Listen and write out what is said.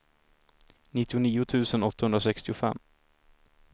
nittionio tusen åttahundrasextiofem